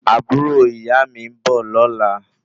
Àbúrò ìyáà mi ń bọ̀ lọ́la